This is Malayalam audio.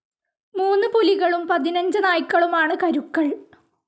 മൂന്ന് പുലികളും പതിനഞ്ച് നായ്ക്കളുമാണ് കരുക്കൾ